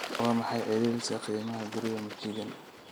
Waa maxay celceliska qiimaha guriga michigan?